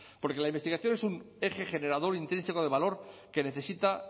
porque la investigación es un eje generador intrínseco de valor que necesita